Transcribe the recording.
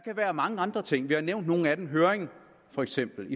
være mange andre ting vi har nævnt nogle af dem for eksempel